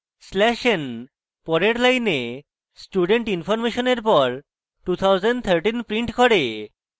slash n পরের line student information এর পর 2013 prints করে